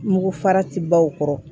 Mugu farati baw kɔrɔ